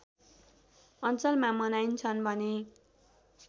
अञ्चलमा मनाइन्छन् भने